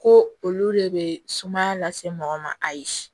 Ko olu de bɛ sumaya lase mɔgɔ ma ayi